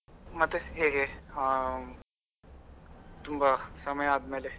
ಮತ್ತೆ ಹೇಗೆ ಹಾಂ ತುಂಬಾ ಸಮಯ ಆದ್ಮೇಲೆ.